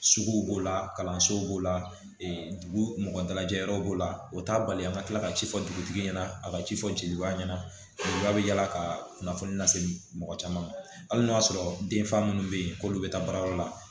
Sugu b'o la kalansow b'o la dugu mɔgɔ dalajɛ yɔrɔ b'o la o t'a bali an ka tila ka ci fɔ dugutigi ɲɛna a ka ci fɔ jeliba ɲɛna bɛ yala ka kunnafoni lase mɔgɔ caman ma hali n'o y'a sɔrɔ den fa minnu bɛ yen k'olu bɛ taa baarayɔrɔ la